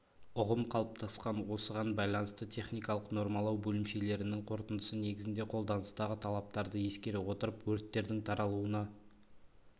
ұғым қалыптасқан осыған байланысты техникалық нормалау бөлімшелерінің қорытындысы негізінде қолданыстағы талаптарды ескере отырып өрттердің таралуына